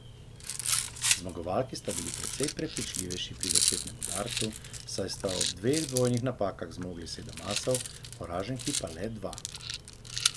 Zmagovalki sta bili precej prepričljivejši pri začetnem udarcu, saj sta ob dveh dvojnih napakah zmogli sedem asov, poraženki pa le dva.